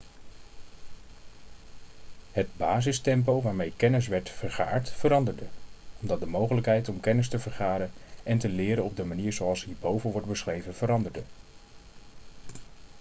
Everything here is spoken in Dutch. het basistempo waarmee kennis werd vergaard veranderde omdat de mogelijkheid om kennis te vergaren en te leren op de manier zoals hierboven wordt beschreven veranderde